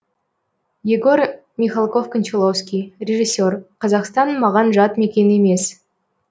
егор михалков кончаловский режиссер қазақстан маған жат мекен емес